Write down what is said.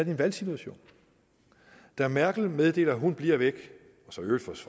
en valgsituation da merkel meddeler at hun bliver væk